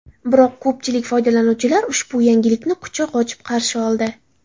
Biroq ko‘pchilik foydalanuvchilar ushbu yangilikni quchoq ochib qarshi oldi.